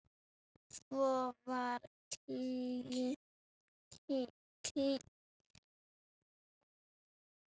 Svo var kímt og hlegið.